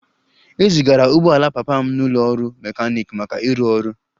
E zigara ụgbọ ala papa m n'ụlọ ọrụ mechanic maka ịrụ ọrụ